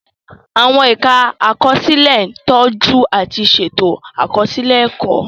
Àwọn ẹ̀ka àkọsílẹ̀ ń tọ́jú àti ṣètò àkọsílẹ̀ ẹ̀kọ́.